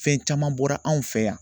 Fɛn caman bɔra anw fɛ yan